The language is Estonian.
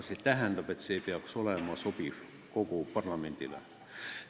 See tähendab, et see otsus peaks olema sobiv kogu parlamendile.